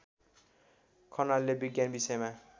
खनालले विज्ञान विषयमा